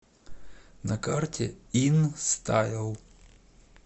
на карте инстайл